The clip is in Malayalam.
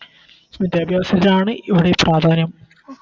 വിദ്യാഭ്യാസത്തിനാണ് ഇവിടെ പ്രാധാന്യം